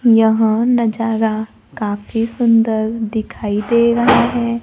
यहां नजारा काफी सुंदर दिखाई दे रहा है।